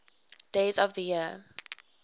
days of the year